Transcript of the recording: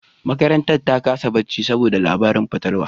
Makarantar ta kasa barci saboda labaran fatalwa